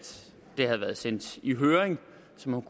det havde været sendt i høring så man